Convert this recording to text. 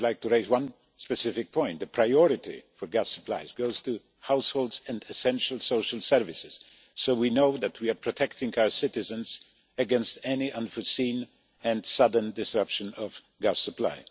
I would like to raise one specific point the priority for gas supplies goes to households and essential social services, so we know that we are protecting our citizens against any unforeseen and sudden disruption of gas supply.